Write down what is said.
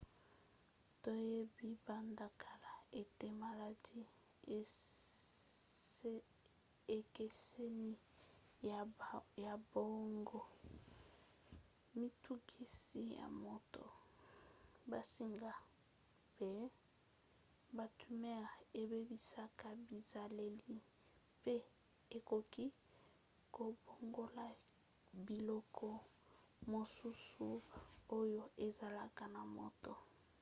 toyebi banda kala ete maladi ekeseni ya boongo mitungisi ya moto bansinga mpe batumeur ebebisaka bizaleli mpe ekoki kobongola biloko mosusu oyo ezalaka na moto